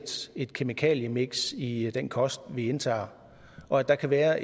et kemikaliemiks i den kost vi indtager og at der kan være